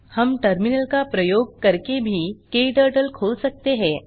हम टर्मिनल का प्रयोग करके भी क्टर्टल खोल सकते हैं